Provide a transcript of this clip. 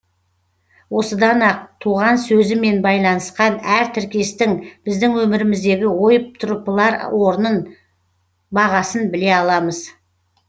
осыдан ақ туған сөзімен байланысқан әр тіркестің біздің өміріміздегі ойып тұрыпалар орнын бағасын біле аламыз